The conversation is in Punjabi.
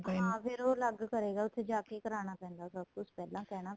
ਹਾਂ ਫੇਰ ਉਹ ਅਲੱਗ ਕਰੇਗਾ ਉੱਥੇ ਜਾਕੇ ਕਰਾਣਾ ਪੈਂਦਾ ਏ ਸਭ ਕੁੱਝ ਪਹਿਲਾਂ ਕਹਿਣਾ